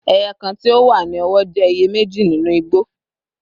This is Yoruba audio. Eye kan ti o wa ni ọwọ jẹ iye meji ninu igbo